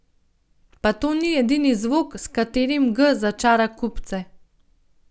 Pa to ni edini zvok, s katerim G začara kupce.